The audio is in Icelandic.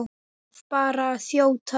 Verð bara að þjóta!